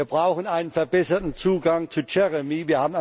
Wir brauchen einen verbesserten Zugang zu JEREMIE.